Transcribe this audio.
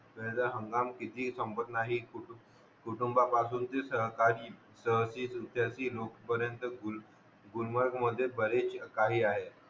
त्याचा हंगाम किती संपत नाही कुटुंबा पासून ती सहकारी सतीचं रित्या ती लोक पर्यंत गुलमर्ग मध्ये बरेच काही आहे